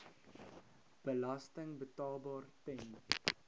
belasting betaalbaar ten